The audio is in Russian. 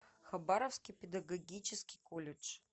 хабаровский педагогический колледж